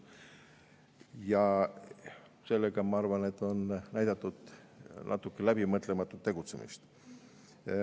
Sellega, ma arvan, on näidatud natuke läbimõtlematut tegutsemist.